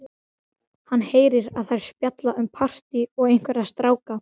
Hann heyrir að þær spjalla um partí og einhverja stráka.